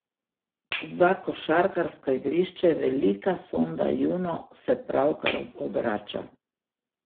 Za košarkarsko igrišče velika sonda Juno se pravkar obrača.